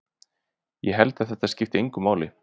Ég held að það skipti engu máli.